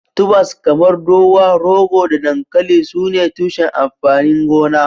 Tubers kamar dowa, rogo da dankali sune tushen amfanin gona.